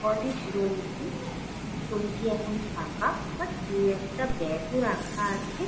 College room টি। Room টি এখন ফাঁকা। বাট দু একটা ব্যাগ ও রাখা আছে।